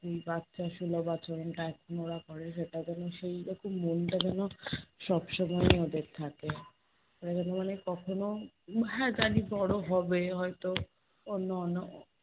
বাচ্চা ষোলো বছরের এখন ওরা কলেজে, তাদের সেই রকম মনটা যেন সবসময় ওদের থাকে। ওরা যেন মনে কখনো, হ্যাঁ জানি বড়ো হবে হয়তো অন্য অন্য